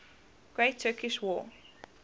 great turkish war